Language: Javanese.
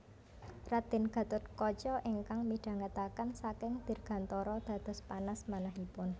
Raden Gatotkaca ingkang midhangetaken saking dirgantara dados panas manahipun